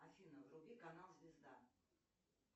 афина вруби канал звезда